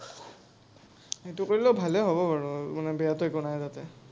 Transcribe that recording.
সেইটো কৰিলেও ভালেই হ’ব বাৰু, মানে বেয়াটো একো নাই তাতে।